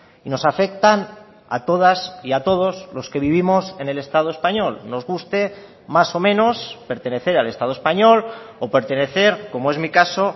y nos afectan a todas y a todos los que vivimos en el estado español nos guste más o menos pertenecer al estado español o pertenecer como es mi caso